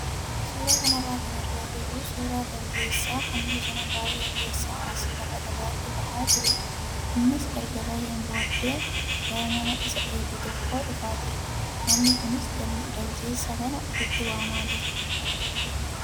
Suuraa kanarraa kan argaa jirru suuraa daljeessaa kan bosona baay'ee keessaa as lafa dhagaatti bahaa jirudha. Innis erga baheen booddee gara nama isa eegu tokkoo dhufaa jira. Namni kunis daljeessa kana ofitti waamaa jira.